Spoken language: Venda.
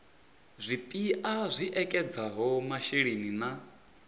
zwipia zwi ekedzaho masheleni na